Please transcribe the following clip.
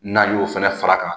N'an y'o fɛnɛ fara a kan